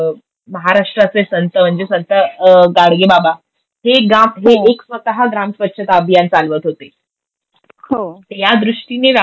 महाराष्ट्राचे संत म्हणजे संत गाडगेबाबा हे एक स्वतः ग्रामस्वच्छ्ता अभियान चालवत होते. तर या दृष्टीने व्यापक